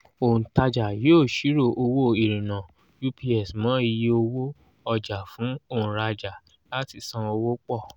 òǹtajà yóò ṣírò owó ìrìnnà ups mọ́ iye owó ọjà fún òǹrajà láti san owó pọ̀.